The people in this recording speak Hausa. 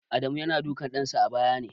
Adamu yana dukan ɗansa a bayyane.